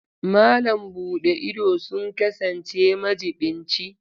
Malam buɗe ido sun kasance majiɓinci.